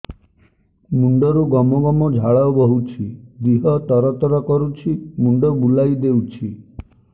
ମୁଣ୍ଡରୁ ଗମ ଗମ ଝାଳ ବହୁଛି ଦିହ ତର ତର କରୁଛି ମୁଣ୍ଡ ବୁଲାଇ ଦେଉଛି